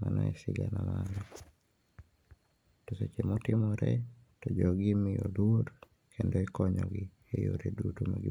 Mano e sigana ma an go to seche motimore to jogi imiyo luor kendo ikonyogi e yore duto ma